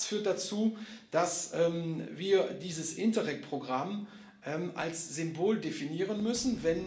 All das führt dazu, dass wir dieses Interreg Programm als Symbol definieren müssen.